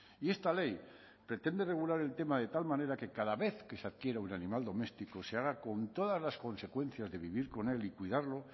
y esta ley pretende regular el tema de tal manera que cada vez que se adquiera un animal doméstico se haga con todas las consecuencias de vivir con él y cuidarlo